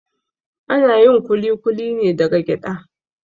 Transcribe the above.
Ana yin kulikuli ne daga gyaɗa